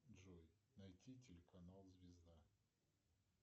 джой найти телеканал звезда